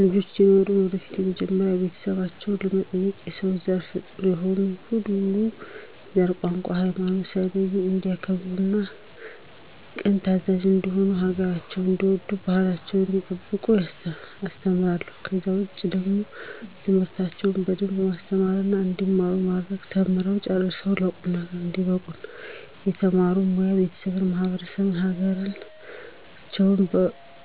ልጆች ሲኖሩኝ ወደፊት መጀመሪያ ቤተሰባቸውን፣ በመቀጠልም የሰው ዘር ፍጡር የሆነ ሁሉ ዘር፣ ቋንቋ፣ ሀይማኖት ሳይለዩ እንዲያከብሩ ቅን ታዛዥ እንዲሆኑ ሀገራቸውን እንዲወዱ ባህላቸውን እንዲጠብቁ አስተምራቸዋለሁ። ከዛ ውጪ ደግሞ ትምህርታቸውን በደንብ ማስተማርና እንዲማሩ ማድረግ ተምረው ጨርሰው ለቁም ነገር እንዲበቁ እና በተማሩበት ሞያ ቤተሰባቸውን፣ ማህበረሰባቸውን፣ ሀገራቸውን